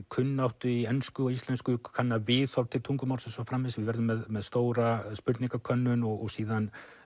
kunnáttu í ensku og íslensku kanna viðhorf til tungumálsins við verðum með stóra spurningakönnun og síðan